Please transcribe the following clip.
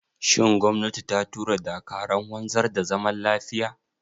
Shin gwamnati ta tura dakarun wanzar da zaman lafiya?